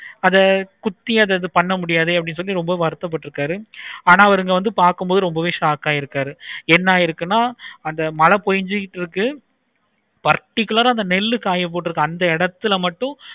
அத குத்தி பண்ண முடியாது சொல்லிட்டு ரொம்ப வறுத்த பட்டுருக்காரு ஆனா அவங்க வந்து பார்க்கும் போது ரொம்பவே shock ஆகிடுக்கரு. என்ன ஆகிருக்கருணை மழை பொழிஞ்சிட்டு இருக்குது. particular ஆஹ் அந்த நெல்லு காய போட்டுருக்க அந்த இடத்துல மட்டும்